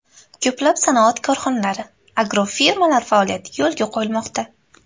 Ko‘plab sanoat korxonalari, agrofirmalar faoliyati yo‘lga qo‘yilmoqda.